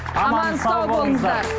аман сау болыңыздар